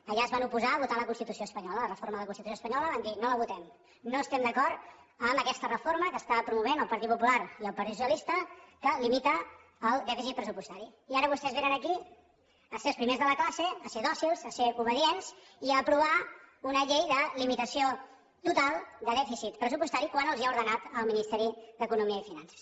allà es van oposar a votar la constitució espanyola la reforma de la constitució espanyola van dir no la votem no estem d’acord amb aquesta reforma que està promovent el partit popular i el partit socialista que limita el dèficit pressupostari i ara vostès vénen aquí a ser els primers de la classe a ser dòcils a ser obedients i a aprovar una llei de limitació total de dèficit pressupostari quan els ho ha ordenat el ministeri d’economia i finances